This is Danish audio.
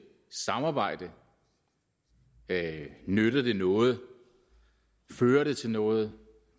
samarbejde nytter det noget fører det til noget